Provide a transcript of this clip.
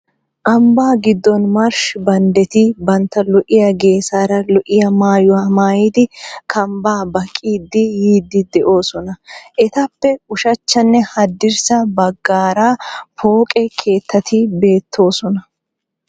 Ambba giddon marshshi banddeti bantta lo"iya geesaara lo"iya maayuwa maayidi kambbaa baqqiiddi yiiddi de'oosona . Etappe ushachchanne haddirssa baggaara pooped keettati beettoosona.